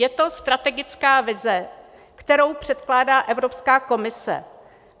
Je to strategická vize, kterou předkládá Evropská komise.